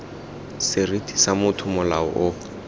seriti sa motho molao o